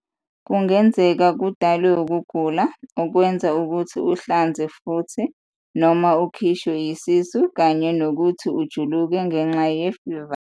Kungenzeka kudalwe ukugula, okwenza ukuthi uhlanze futhi-noma ukhishwe isisu, kanye nokuthi ujuluke ngenxa yemfiva.